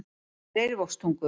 Leirvogstungu